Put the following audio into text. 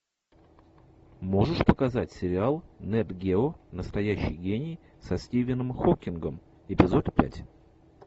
можешь показать сериал нет гео настоящий гений со стивеном хокингом эпизод пять